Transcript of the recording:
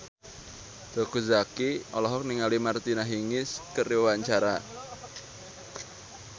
Teuku Zacky olohok ningali Martina Hingis keur diwawancara